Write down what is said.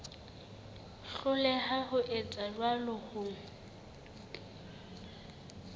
hloleha ho etsa jwalo ho